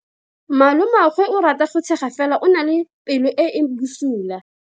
Malomagwe o rata go tshega fela o na le pelo e e bosula.